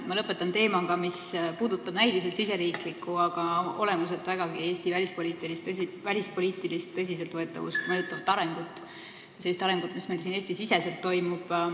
Ma lõpetan teemaga, mis puudutab näiliselt riigisisest, aga olemuselt vägagi Eesti välispoliitilist tõsiseltvõetavust mõjutavat arengut – sellist arengut, mis meil siin Eesti-siseselt toimub.